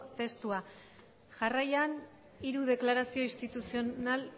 testua jarraian hiru deklarazio instituzional